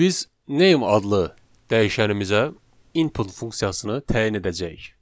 İndi biz name adlı dəyişənimizə input funksiyasını təyin edəcəyik.